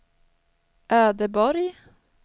Ödeborg